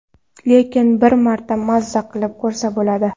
Lekin bir marta maza qilib ko‘rsa bo‘ladi.